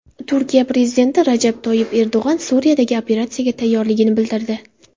Turkiya prezidenti Rajab Toyyib Erdo‘g‘on Suriyadagi operatsiyaga tayyorligini bildirdi.